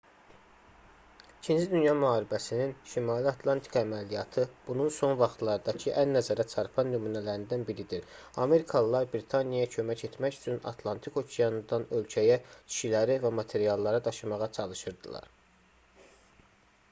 ii dünya müharibəsinin şimali atlantika əməliyyatı bunun son vaxtlardakı ən nəzərəçarpan nümunələrindən biridir amerikalılar britaniyaya kömək etmək üçün atlantik okeanından ölkəyə kişiləri və materialları daşımağa çalışırdılar